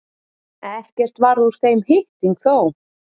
Ekkert varð úr þeim hitting þó.